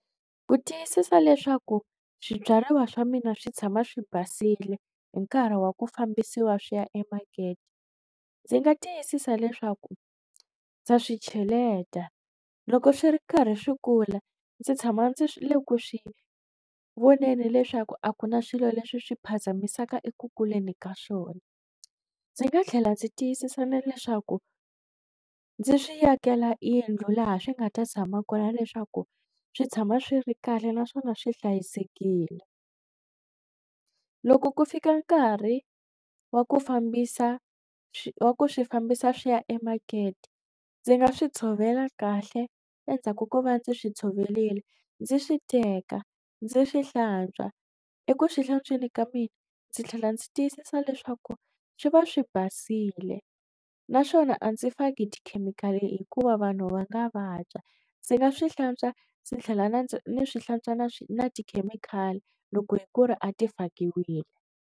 Ku tiyisisa leswaku swibyariwa swa mina swi tshama swi basile hi nkarhi wa ku fambisiwa swi ya emakete ndzi nga tiyisisa leswaku ndza swi cheleta loko swi ri karhi swi kula ndzi tshama ndzi le ku swi voneni leswaku a ku na swilo leswi swi phazamisaka eku kuleni ka swona ndzi nga tlhela ndzi tiyisisa na leswaku, ndzi swi yakela yindlu laha swi nga ta tshama kona leswaku swi tshama swi ri kahle naswona swi hlayisekile loko ku fika nkarhi wa ku fambisa wa ku swi fambisa swi ya emakete ndzi nga swi tshovela kahle endzhaku ko va ndzi swi tshovelile ndzi swi teka ndzi swi hlantswa eku swi hlantsweni ka mina ndzi tlhela ndzi tiyisisa leswaku swi va swi basile naswona a ndzi faki tikhemikhali hikuva vanhu va nga vabya ndzi nga swi hlantswa ndzi tlhela ni swi hlantswa na na tikhemikhali loko hi ku ri a ti fakiwile.